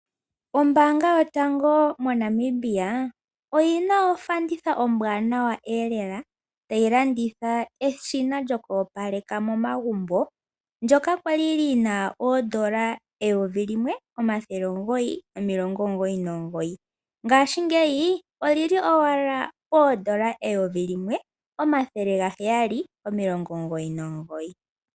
Ombaanga yotango moNamibia oyina ofanditha ombwanawa lela. Tayi landitha eshina lyoku opaleka momagumbo ndyoka kwali lina oodola eyovi limwe, omathele omugoyi nomilongo omugoyi nomugoyi ngashingeyi oli li owala poodola eyovi limwe, omathele gaheyali nomilongo omugoyi nomugoyi.